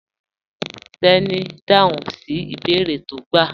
Teni n dáhùn sí ibèèrè tí o gbà